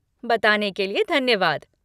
बताने के लिए धन्यवाद।